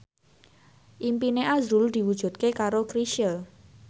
impine azrul diwujudke karo Chrisye